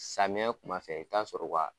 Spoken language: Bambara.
Samiɲɛ Kuma fɛ, i bi taa sɔrɔ u ka